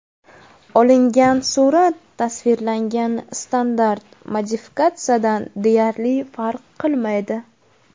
Olingan surat tasvirlangan standart modifikatsiyadan deyarli farq qilmaydi.